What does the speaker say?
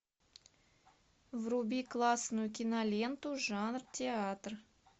вруби классную киноленту жанр театр